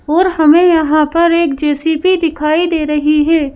और हमें यहां पर एक जे _सी_ बी दिखाई दे रही है।